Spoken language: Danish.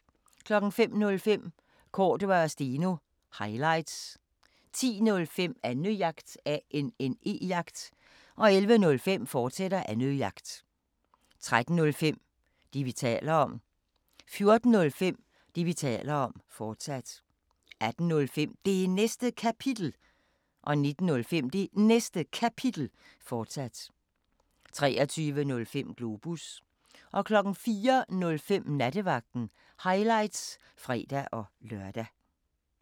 05:05: Cordua & Steno – highlights 10:05: Annejagt 11:05: Annejagt, fortsat 13:05: Det, vi taler om 14:05: Det, vi taler om, fortsat 18:05: Det Næste Kapitel 19:05: Det Næste Kapitel, fortsat 23:05: Globus 04:05: Nattevagten – highlights (fre-lør)